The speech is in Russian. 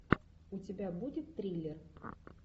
у тебя будет триллер